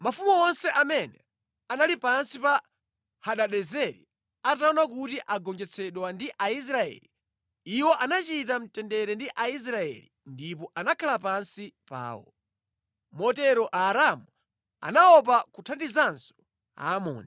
Mafumu onse amene anali pansi pa Hadadezeri ataona kuti agonjetsedwa ndi Aisraeli, iwo anachita mtendere ndi Aisraeli ndipo anakhala pansi pawo. Motero Aaramu anaopa kuthandizanso Aamoni.